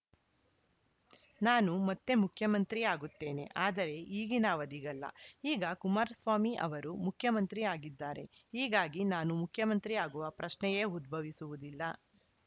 ನಾನು ಮತ್ತೆ ಮುಖ್ಯಮಂತ್ರಿ ಆಗುತ್ತೇನೆ ಆದರೆ ಈಗಿನ ಅವಧಿಗಲ್ಲ ಈಗ ಕುಮಾರಸ್ವಾಮಿ ಅವರು ಮುಖ್ಯಮಂತ್ರಿ ಆಗಿದ್ದಾರೆ ಹೀಗಾಗಿ ನಾನು ಮುಖ್ಯಮಂತ್ರಿ ಆಗುವ ಪ್ರಶ್ನೆಯೇ ಉದ್ಭವಿಸುವುದಿಲ್ಲ